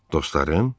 Dostlarım?